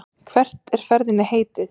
Og hvert er ferðinni heitið?